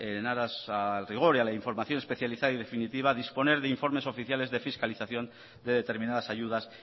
en aras al rigor y a la información especializada y definitiva disponer de informes oficiales de fiscalización de determinadas ayudas